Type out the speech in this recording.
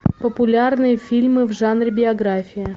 популярные фильмы в жанре биография